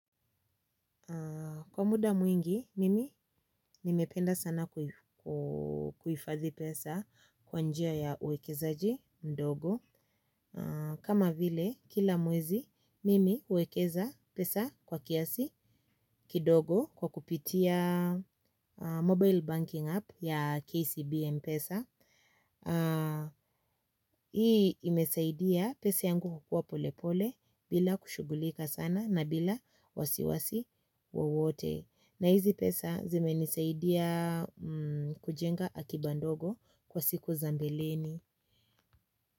Kwa muda mwingi, mimi nimependa sana kuhifadhi pesa kwa njia ya uwekezaji ndogo. Kama vile, kila mwezi, mimi huwekeza pesa kwa kiasi kidogo kwa kupitia mobile banking app ya KCB. Mpesa. Hii imesaidia pesa yangu kukua polepole bila kushughulika sana na bila wasiwasi wowote. Na hizi pesa zimenisaidia kujenga akiba ndogo kwa siku za mbeleni.